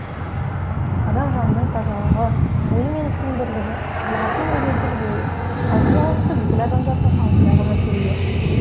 адам жанының тазалығы ойы мен ісінің бірлігі табиғатпен үйлесімді болуы қазіргі уақытта бүкіл адамзаттың алдындағы мәселелер